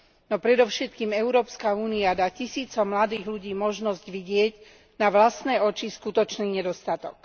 No predovšetkým Európska únia dá tisícom mladých ľudí možnosť vidieť na vlastné oči skutočný nedostatok.